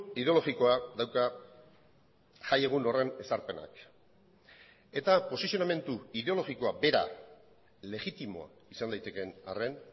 ideologikoa dauka jaiegun horren ezarpenak eta posizionamendu ideologikoa bera legitimo izan daitekeen arren